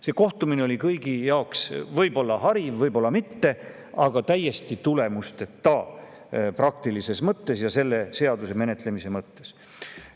See kohtumine oli kõigi jaoks võib-olla hariv, võib-olla mitte, aga täiesti tulemusteta praktilises mõttes ja selle seaduse menetlemise mõttes.